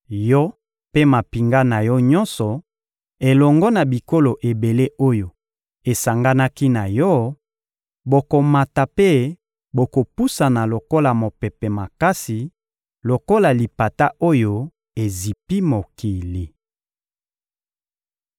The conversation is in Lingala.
Yo mpe mampinga na yo nyonso, elongo na bikolo ebele oyo esanganaki na yo, bokomata mpe bokopusana lokola mopepe makasi, lokola lipata oyo ezipi mokili.